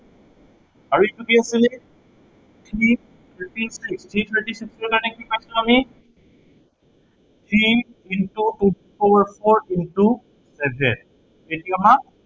আৰু এইটো কি হব three thirty five, three thirty five ৰ কাৰনে কি পাইছো আমি three into two the power four into seven এইটো আমাৰ